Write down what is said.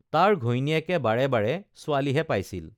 তাৰ ঘৈণীয়েকে বাৰে বাৰে ছোৱালীহে পাইছিল